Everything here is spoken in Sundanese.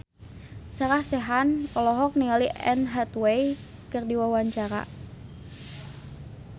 Sarah Sechan olohok ningali Anne Hathaway keur diwawancara